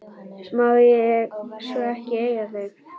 Má ég svo ekki eiga þau?